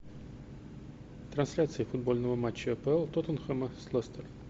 трансляция футбольного матча апл тоттенхэма с лестер